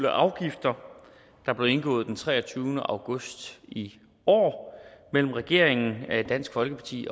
afgifter der blev indgået den treogtyvende august i år mellem regeringen dansk folkeparti